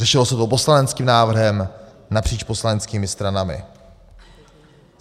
Řešilo se to poslaneckým návrhem napříč poslaneckými stranami.